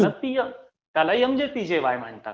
त्याला PM MJPJAY म्हणतात.